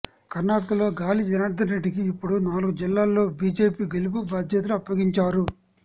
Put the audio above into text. కర్ణాటకలో గాలి జనార్ధన్ రెడ్డికి ఇప్పుడు నాలుగు జిల్లాల్లో బీజేపీ గెలుపు బాధ్యతలు అప్పగించారు